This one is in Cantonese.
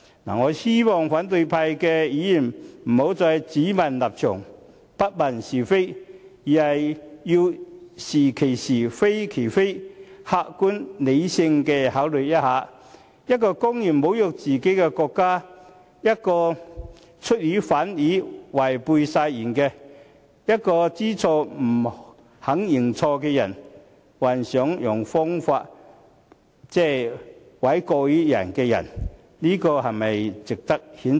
我希望反對派議員不要只問立場，不問是非，而是要是其是，非其非，客觀理性地思考一下，一個公然侮辱自己國家、一個出爾反爾、違背誓言，以及一個知錯不肯認錯，還想設法諉過於人的人，是否值得譴責？